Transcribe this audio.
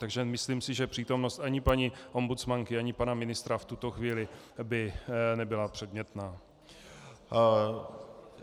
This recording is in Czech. Takže myslím si, že přítomnost ani paní ombudsmanky ani pana ministra v tuto chvíli by nebyla předmětná.